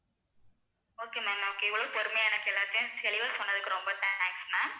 ma'am okay ma'am okay இவ்வளவு பொறுமையா எனக்கு எல்லாத்தையும் தெளிவா சொன்னதுக்கு ரொம்ப thanks ma'am